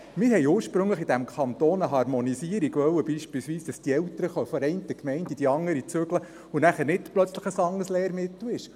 Wir wollten in diesem Kanton ursprünglich eine Harmonisierung, damit Eltern von einer Gemeinde in eine andere zügeln können und dann nicht plötzlich ein anderes Lehrmittel gilt.